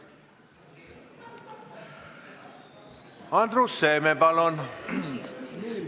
Andrus Seeme, palun!